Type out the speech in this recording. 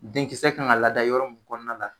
Denkisɛ kan ka lada yɔrɔ mun kɔnɔna la